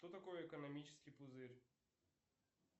что такое экономический пузырь